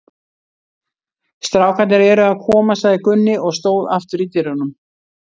Strákarnir eru að koma, sagði Gunni og stóð aftur í dyrunum.